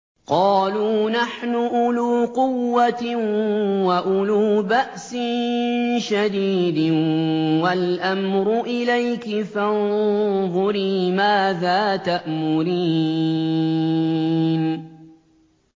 قَالُوا نَحْنُ أُولُو قُوَّةٍ وَأُولُو بَأْسٍ شَدِيدٍ وَالْأَمْرُ إِلَيْكِ فَانظُرِي مَاذَا تَأْمُرِينَ